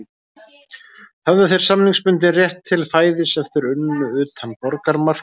Höfðu þeir samningsbundinn rétt til fæðis ef þeir unnu utan borgarmarka